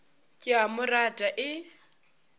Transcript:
ke a mo rata e